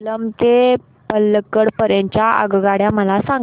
सेलम ते पल्लकड पर्यंत च्या आगगाड्या मला सांगा